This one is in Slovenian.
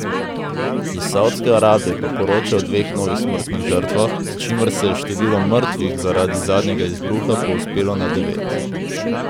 Iz Saudske Arabije pa poročajo o dveh novih smrtnih žrtvah, s čimer se je število mrtvih zaradi zadnjega izbruha povzpelo na devet.